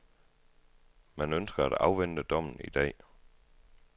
Man ønsker at afvente dommen i dag.